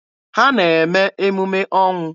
Ha na-eme emume ọnwụ.